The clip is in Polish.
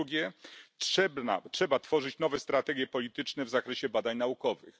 Po drugie, trzeba tworzyć nowe strategie polityczne w zakresie badań naukowych.